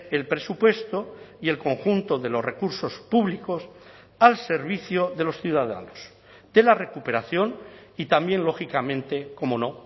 el presupuesto y el conjunto de los recursos públicos al servicio de los ciudadanos de la recuperación y también lógicamente cómo no